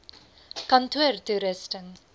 kantoortoerusting